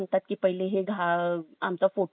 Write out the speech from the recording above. आमचा photo घ्या मग त्यांना काय वाटलं